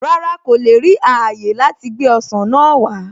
Rárá, kò le ri ààyè láti gbé ọsàn náà wá